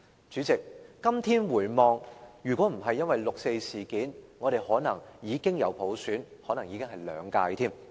主席，今天回望，如果不是因為六四事件，我們可能已經有普選，還可能是兩屆。